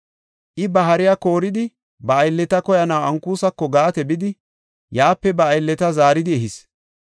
I ba hariya kooridi, ba aylleta koyanaw Ankusako Gaate bidi, yaape ba aylleta zaaridi ehis.